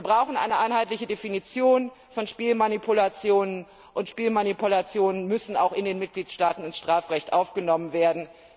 Wir brauchen eine einheitliche Definition von Spielmanipulationen, und Spielmanipulationen müssen außerdem in den Mitgliedstaaten in das Strafrecht aufgenommen werden.